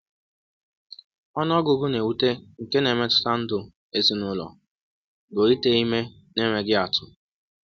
Ọnụ ọgụgụ na-ewute nke na-emetụta ndụ ezinụlọ bụ ite ime n’enweghị atụ.